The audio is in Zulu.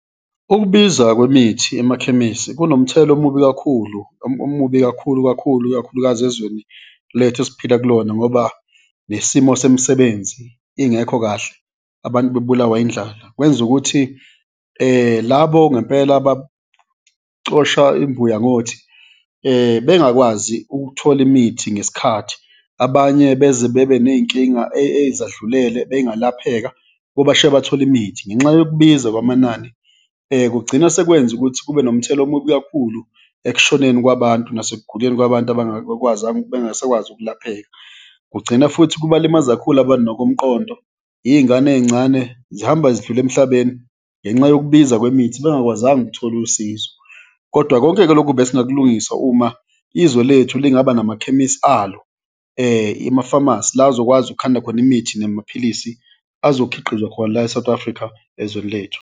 Ukubiza kwemithi emakhemisi kunomthelela omubi kakhulu, omubi kakhulu kakhulu, ikakhulukazi ezweni lethu esiphila kulona ngoba nesimo semisebenzi ingekho kahle, abantu bebulawa indlala. Kwenza ukuthi labo ngempela abacosha imbuya ngothi bengakwazi ukuthola imithi ngesikhathi, abanye beze bebe ney'nkinga ezadlulele, eyingalapheka, kubashiya bathole imithi ngenxa yokubiza kwamanani. Kugcina sekwenza ukuthi kube nomthelela omubi kakhulu ekushoneni kwabantu nasekuguleni kwabantu bengasakwazi ukulapheka, kugcina futhi kubalimaza kakhulu abantu nokomqondo, iy'ngane ey'ncane zihamba zidlula emhlabeni ngenxa yokubiza kwemithi bengakwazanga ukuthola usizo. Kodwa konke-ke loku besingakulungisa uma izwe lethu lingaba namakhemisi alo, ima-phamarcy, la azokwazi ukukhanda khona imithi namaphilisi azokhiqizwa khona la e-South Africa ezweni lethu.